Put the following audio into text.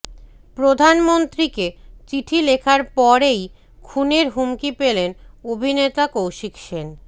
প্রধানমন্ত্রীকে চিঠি লেখার পরেই খুনের হুমকি পেলেন অভিনেতা কৌশিক সেন